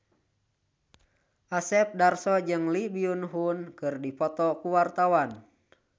Asep Darso jeung Lee Byung Hun keur dipoto ku wartawan